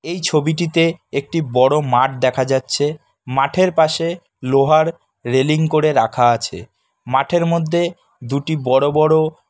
এই ছবিটিতে একটি বড় মাঠ দেখা যাচ্ছে মাঠের পাশে লোহার রেলিং করে রাখা আছে মাঠের মধ্যে দুটি বড় বড়--